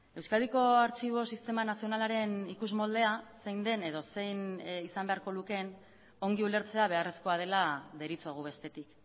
euskadiko artxibo sistema nazionalaren ikusmoldea zein den edo zein izan beharko lukeen ongi ulertzea beharrezkoa dela deritzogu bestetik